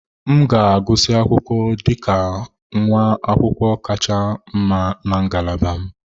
M ga-agụsị akwụkwọ dị ka nwa akwụkwọ kacha mma na ngalaba m.